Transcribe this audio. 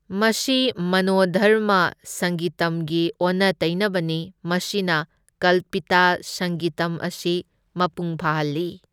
ꯃꯁꯤ ꯃꯅꯣꯙꯔꯃ ꯁꯪꯒꯤꯇꯝꯒꯤ ꯑꯣꯟꯅ ꯇꯩꯅꯕꯅꯤ, ꯃꯁꯤꯅ ꯀꯜꯄꯤꯇꯥ ꯁꯪꯒꯤꯇꯝ ꯑꯁꯤ ꯃꯄꯨꯡ ꯐꯥꯍꯜꯂꯤ꯫